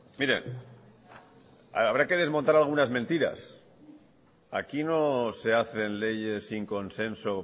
mire habrá que desmontar algunas mentiras aquí no se hacen leyes sin consenso